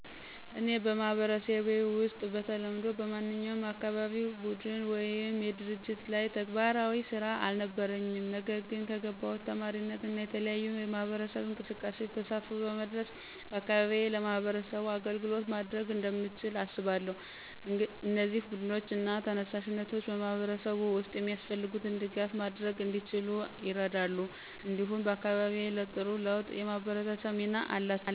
እኔ በማህበረሰቤ ውስጥ በተለምዶ በማንኛውም የአካባቢ ቡድን ወይም ድርጅት ላይ ተግባራዊ ስራ አልነበረኝም። ነገር ግን ከገባሁት ተማሪነት እና የተለያዩ የማህበረሰብ እንቅስቃሴዎች ተሳትፎ በመድረስ በአካባቢዬ ለማህበረሰቡ አገልግሎት ማድረግ እንደምችል አስባለሁ። እነዚህ ቡድኖች እና ተነሳሽነቶች በማህበረሰብ ውስጥ የሚያስፈልጉትን ድጋፍ ማድረግ እንዲችሉ ይረዳሉ፣ እንዲሁም አካባቢዬን ለጥሩ ለውጥ የማበርታት ሚና አላቸው።